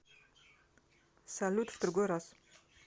салют в другой раз